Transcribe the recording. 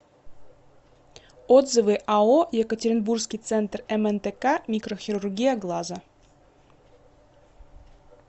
отзывы ао екатеринбургский центр мнтк микрохирургия глаза